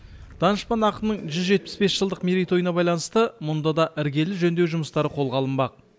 данышпан ақынның жүз жетпіс бес жылдық мерейтойына байланысты мұнда да іргелі жөндеу жұмыстары қолға алынбақ